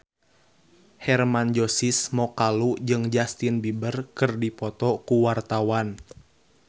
Hermann Josis Mokalu jeung Justin Beiber keur dipoto ku wartawan